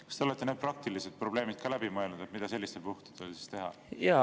Kas te olete need praktilised probleemid läbi mõelnud, mida sellistel puhkudel teha?